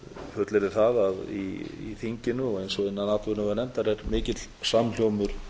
fullyrði það að í þinginu eins og innan atvinnuveganefndar er mikill samhljómur